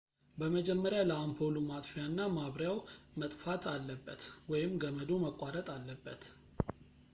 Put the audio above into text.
በመጀመሪያ ለአምፖሉ ማጥፊያ እና ማብሪያው መጥፋት አለበት ወይም ገመዱ መቋረጥ አለበት